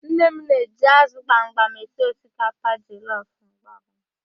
Nne m na-eji ázụ̀ gbamgbam esi osikapa jọlọf mgbe ọbụla